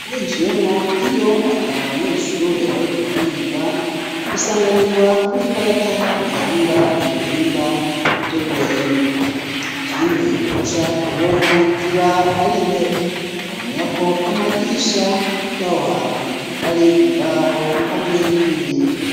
Winjiyemwo, iyo ata banyeshure bariko bariga, usanganirwa n'ikarata, iranga ibihimba vyo guhema; ikindi uca ubona ziba ari intebe; mwomenya ko amadirisha y'aho hantu, ari imbaho hamwe n'ibiyo.